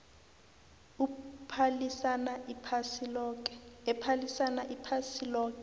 ephalisana iphasi loke